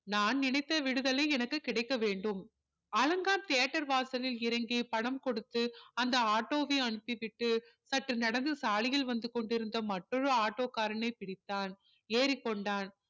நான் நினைத்த விடுதலை எனக்கு கிடைக்க வேண்டும் அலங்கார் theater வாசலில் இறங்கி பணம் கொடுத்து அந்த ஆட்டோவை அனுப்பி விட்டு சற்று நடந்து சாலையில் வந்து கொண்டிருந்த மற்றொரு ஆட்டோ காரனை பிடித்தான் ஏறிக்கொண்டான்